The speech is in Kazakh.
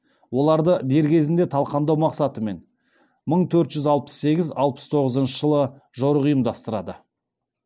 оларды дер кезінде талқандау мақсатымен мың төрт жүз алпыс сегіз алпыс тоғызыншы жылы жорық ұйымдастырады